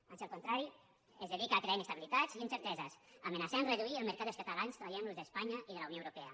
ans al contrari es dedica a crear inestabilitats i incerteses a amenaçar a reduir el mercat dels catalans traient los d’espanya i de la unió europea